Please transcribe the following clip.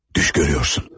Düş görürsən.